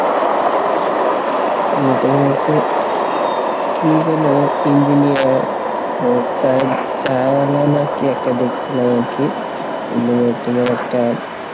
ওইযে তোমার হোসসে কী যেন engineer আহ চায়ের চা ওয়ালা না কী একটা দেখসিলাম আরকি তোমার একটা,